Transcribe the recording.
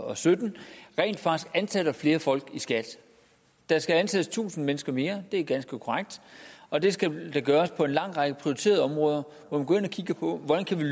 og sytten rent faktisk ansætter flere folk i skat der skal ansættes tusind mennesker mere det er ganske korrekt og det skal der på en lang række prioriterede områder hvor man går ind og kigger på hvordan vi